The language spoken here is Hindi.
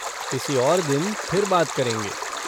किसी और दिन फिर बात करेंगे।